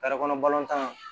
kɔnɔ balontan